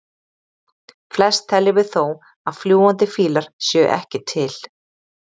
Flest teljum við þó að fljúgandi fílar séu ekki til.